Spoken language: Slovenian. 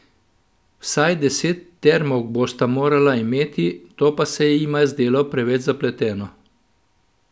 Vsaj deset termovk bosta morala imeti, to pa se jima je zdelo preveč zapleteno.